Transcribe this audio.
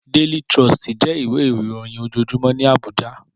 Déli Tròstí jè iwé iróyìn ójójúmò ni Abuja